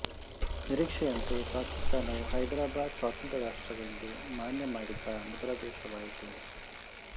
ನಿರೀಕ್ಷೆಯಂತೆ ಪಾಕಿಸ್ತಾನವು ಹೈದರಾಬಾದ ಸ್ವತಂತ್ರ ರಾಷ್ಟ್ರವೆಂದು ಮಾನ್ಯ ಮಾಡಿದ ಮೊದಲ ದೇಶವಾಯಿತು